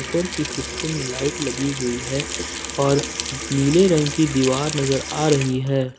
उपर की हिस्सों में लाइट लगी हुई है और नीले रंग की दीवार नज़र आ रही है।